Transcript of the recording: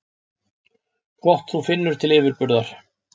Gott þú finnur til yfirburða.